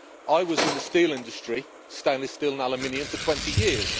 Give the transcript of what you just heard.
I was in the steel industry, stainless steel and aluminium, for twenty years.